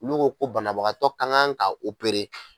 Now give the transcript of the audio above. N'u ko banabagatɔ ka kan ka opere